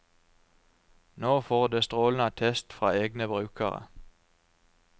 Nå får det strålende attest fra egne brukere.